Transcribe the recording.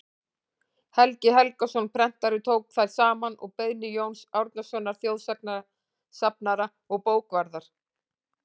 helgi helgason prentari tók þær saman að beiðni jóns árnasonar þjóðsagnasafnara og bókavarðar